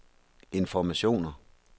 informationer